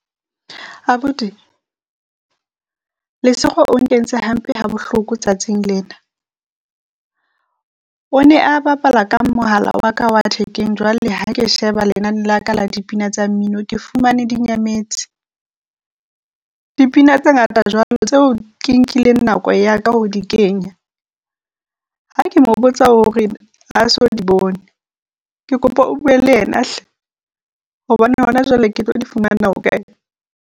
Abuti Lesego o nkentse hampe ha bohloko tsatsing lena, o ne a bapala ka mohala wa ka wa thekeng, jwale ha ke sheba lenane la ka la dipina tsa mmino ke fumane di nyametse. Dipina tse ngata tseo ke nkileng nako ya ka ho di kenya, ha ke mo botsa o re ha so di bone. Ke kopa o bue le yena hle hobane hona jwale ke tlo di fumana hokae?